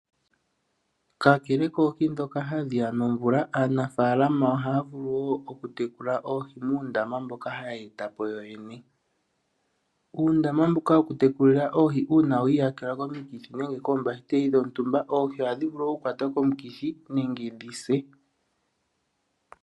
Kakele koohi dhoka hadhiya nomvula aanafalama oha vulu wo okutekula oohi muundama mboka haya etapo yoyene. Uundama mbuka woku tekulila oohi uuna wiiyakelwa koomikithi nenge koombahiteli dhontumba oohi ohadhi vulu oku kwata komukithi nenge dhise.